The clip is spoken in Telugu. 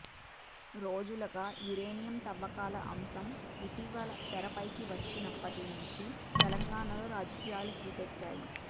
రోజులుగా యురేనియం తవ్వకాల అంశం ఇటీవల తెరపైకి వచ్చినప్పటి నుంచి తెలంగాణలో రాజకీయాలు హీటెక్కాయి